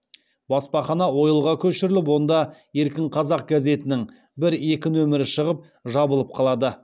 баспахана ойылға көшіріліп онда еркін қазақ газетінің бір екі нөмірі шығып жабылып қалады